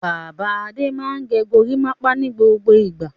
Bàbá Adé máa ń gẹ gorímápá ní gbogbo ìgbà.